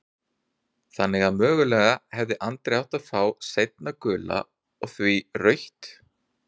Þannig að mögulega hefði Andri átt að fá seinna gula og því rautt?